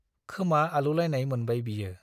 खोमा आलौलायनाय मोनबाय बियो ।